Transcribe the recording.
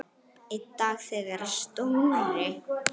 Einn dag þegar Stóri